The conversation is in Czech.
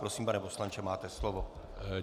Prosím, pane poslanče, máte slovo.